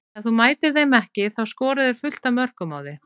Ef þú mætir þeim ekki þá skora þeir fullt af mörkum á þig.